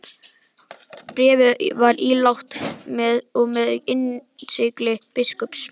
Bréfið var ílangt og með innsigli biskups.